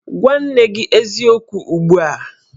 Gwa nne gi eziokwu ugbu a!